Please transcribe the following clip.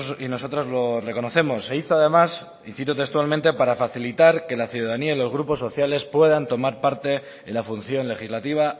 y nosotros lo reconocemos se hizo además y cito textualmente para facilitar que la ciudadanía y los grupos sociales puedan tomar parte en la función legislativa